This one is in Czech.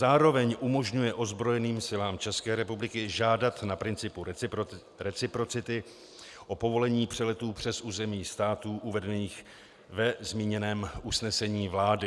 Zároveň umožňuje ozbrojeným silám České republiky žádat na principu reciprocity o povolení přeletů přes území států uvedených ve zmíněném usnesení vlády.